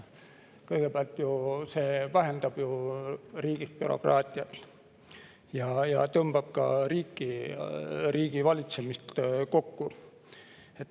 Kõigepealt vähendab ta riigis bürokraatiat ja tõmbab ka riiki, riigivalitsemist kokku.